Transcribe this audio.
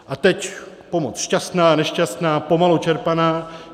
A teď pomoc šťastná, nešťastná, pomalu čerpaná...